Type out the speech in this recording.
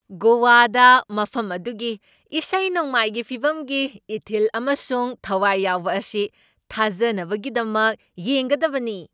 ꯒꯣꯋꯥꯗ ꯃꯐꯝ ꯑꯗꯨꯒꯤ ꯏꯁꯩ ꯅꯣꯡꯃꯥꯏꯒꯤ ꯐꯤꯚꯝꯒꯤ ꯏꯊꯤꯜ ꯑꯃꯁꯨꯡ ꯊꯋꯥꯏ ꯌꯥꯎꯕ ꯑꯁꯤ ꯊꯥꯖꯅꯕꯒꯤꯗꯃꯛ ꯌꯦꯡꯒꯗꯕꯅꯤ꯫